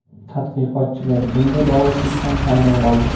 Tadqiqotchilar bunday bog‘liqlikdan hayron qoldi.